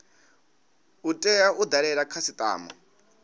u tea u dalela khasitama